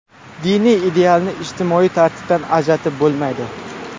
Diniy idealni ijtimoiy tartibdan ajratib bo‘lmaydi.